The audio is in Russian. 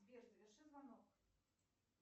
сбер заверши звонок